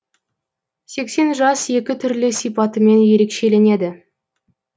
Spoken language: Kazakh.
сексен жас екі түрлі сипатымен ерекшеленеді